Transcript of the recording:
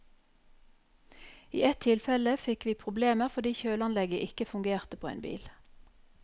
I ett tilfelle fikk vi problemer fordi kjøleanlegget ikke fungerte på en bil.